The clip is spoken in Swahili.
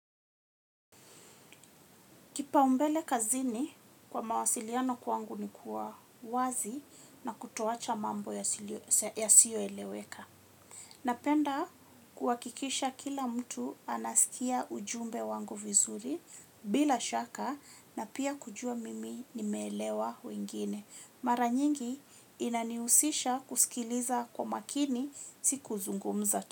Kipaumbele kazini kwa mawasiliano kwangu nikuwa wazi na kutoacha mambo yasiyo eleweka. Napenda kuwakikisha kila mtu anasikia ujumbe wangu vizuri bila shaka na pia kujua mimi nimeelewa wengine. Mara nyingi inaniusisha kusikiliza kwa makini si kuzungumza.